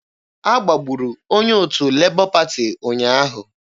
A gbagburu onye otu Lebọ Pati ụnyaahụ.